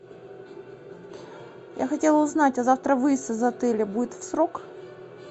я хотела узнать а завтра выезд из отеля будет в срок